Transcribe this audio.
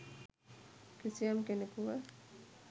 කිසියම් කෙනෙකුව